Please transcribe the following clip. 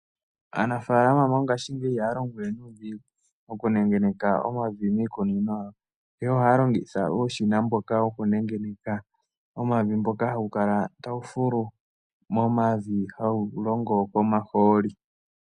Aanafaalama mongashingeyi ihaya longo we nuudhigu okunengeneka omavi miikunino yawo, ihe ohaya longitha uushina mboka wokunengeneka omavi mboka hawu kala tawu fulu momavi hawu longo nomahooli.